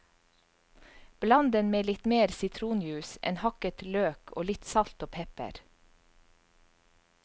Bland den med litt mer sitronjuice, en hakket løk og litt salt og pepper.